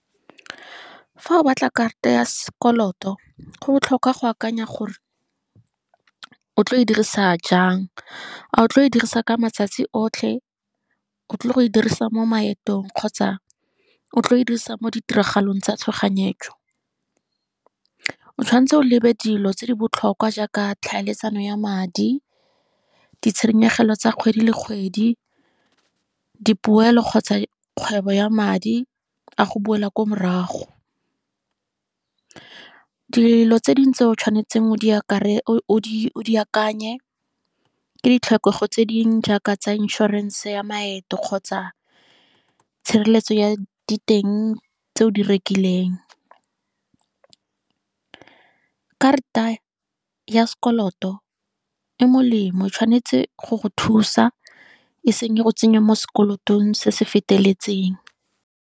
Fa o batla karata ya sekoloto, go botlhokwa go akanya gore, o tlo go e dirisa jang, a o tlo go e dirisa ka matsatsi otlhe, o tlile go e dirisa mo maetong kgotsa o tlo go e dirisa mo ditiragalong tsa tshoganyetso. O tshwanetse o lebe dilo tse di botlhokwa jaaka tlhaeletsano ya madi, ditshenyegelo tsa kgwedi le kgwedi, dipoelo kgotsa kgwebo ya madi, a go boela ko morago. Dilo tse dingwe tse o tshwanetseng o di akanye, ke ditlhokego tse dingwe jaaka tsa insurance ya maeto, kgotsa tshireletso ya diteng tse o di rekileng. Karata ya sekoloto, e molemo o tshwanetse go go thusa, e seng le go tsenya mo sekolotong se se feteletseng.